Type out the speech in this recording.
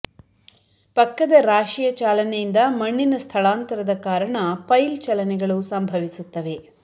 ಪಕ್ಕದ ರಾಶಿಯ ಚಾಲನೆಯಿಂದ ಮಣ್ಣಿನ ಸ್ಥಳಾಂತರದ ಕಾರಣ ಪೈಲ್ ಚಲನೆಗಳು ಸಂಭವಿಸುತ್ತವೆ